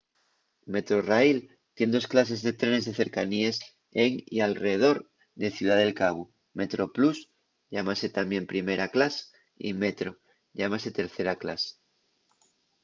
metrorail tien dos clases de trenes de cercaníes en y alredor de ciudá del cabu; metroplus llámase tamién primera clas y metro llámase tercera clas